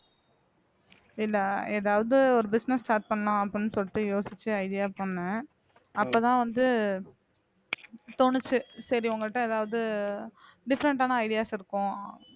இல்ல ஏதாவது ஒரு business start பண்ணணும் அப்படின்னு சொல்லிட்டு யோசிச்சு idea பண்ணேன் அப்பதான் வந்து தோணுச்சு சரி உங்கள்ட்ட ஏதாவது different ஆன ideas இருக்கும்